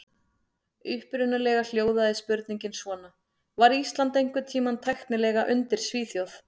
Upprunalega hljóðaði spurningin svona: Var Ísland einhvern tímann tæknilega undir Svíþjóð?